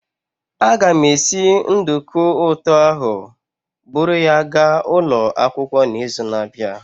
Aga m esi nduku ụtọ ahụ buru ya gaa ụlọ akwụkwọ n'izu na-abịa.